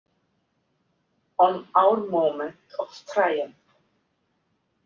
On our moment of triumph?